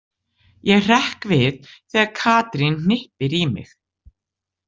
Ég hrekk við þegar Katrín hnippir í mig.